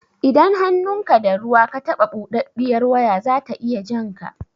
Idan hannunka da ruwa ka taɓa buɗaɗɗiyar waya zata iya jan ka